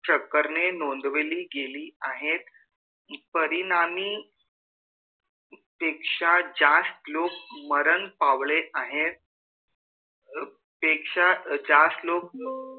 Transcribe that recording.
चकरने नोंदवली गेली आहे परिणाम पेक्षा जास्त लोक मरण पावले आहेत पेक्षा जास्त ल